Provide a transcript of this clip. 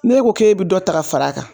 Ne ko k'e be dɔ ta ka fara a kan